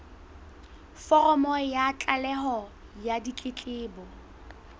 foromo ya tlaleho ya ditletlebo